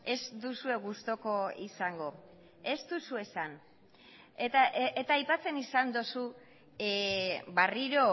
ez duzue gustuko izango ez duzu esan eta aipatzen izan duzu berriro